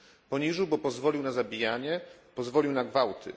Poniżył, bo pozwolił na zabijanie, pozwolił na gwałty.